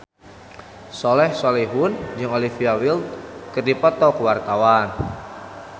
Soleh Solihun jeung Olivia Wilde keur dipoto ku wartawan